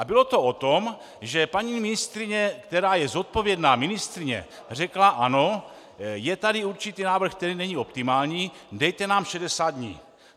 A bylo to o tom, že paní ministryně, která je zodpovědná ministryně, řekla ano, je tady určitý návrh, který není optimální, dejte nám 60 dní.